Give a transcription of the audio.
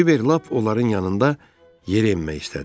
Kiber lap onların yanında yerə enmək istədi.